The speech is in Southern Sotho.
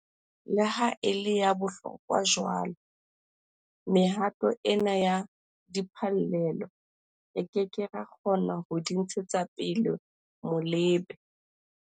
Le ha e le ya bohlokwa jwalo, mehato ena ya diphallelo, re ke ke ra kgona ho di ntshetsa pele molebe.